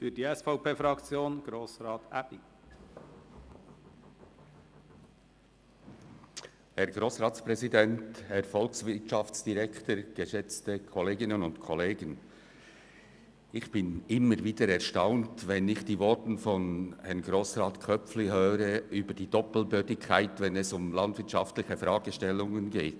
Ich bin immer wieder über die Doppelbödigkeit erstaunt, wenn ich die Voten von Grossrat Köpfli zu landwirtschaftlichen Fragestellungen höre.